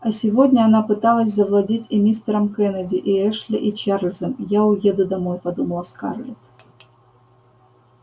а сегодня она пыталась завладеть и мистером кеннеди и эшли и чарлзом я уеду домой подумала скарлетт